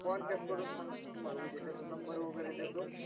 contact करून सांगतो तुम्हाला उद्या त्याचा number वगैरे देतो.